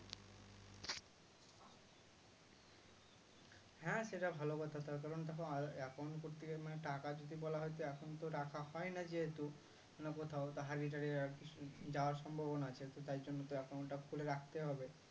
হ্যাঁ সেটা ভালো কথা তার কারণ ধরো account করতে গিয়ে মানে টাকা যদি বলা হয়তো এখনতো রাখা হয় না যেহেতু অন্য কোথাও হারিয়ে তাড়িয়ে আর যাওয়ার সম্ভবনা আছে তো তাই জন্য account টা খুলে রাখতে হবে